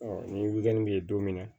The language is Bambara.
ni bɛ ye don min na